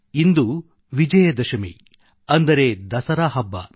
ಇಂದು ವಿಜಯದಶಮಿ ಅಂದರೆ ದಸರಾ ಹಬ್ಬ